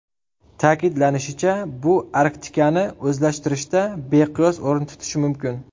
Ta’kidlanishicha, bu Arktikani o‘zlashtirishda beqiyos o‘rin tutishi mumkin.